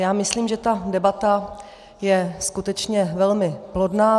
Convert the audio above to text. Já myslím, že ta debata je skutečně velmi plodná.